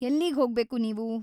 ಎಲ್ಲಿಗ್ಹೋಗ್ಬೇಕು‌ ನೀವು?